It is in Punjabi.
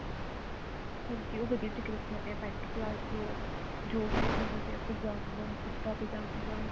ਹਾਂਜੀ ਉਹ ਵਧੀਆ business ਚ ਆਉਂਦੇ ਹਾਂ ਪੇੰਟ ਪਲਾਜੋ ਜੋ ਵੀ ਸਿੱਖਣਾ ਚਾਹੁੰਦੇ ਹੋ ਕੁੜਤਾ ਪਜਾਮਾ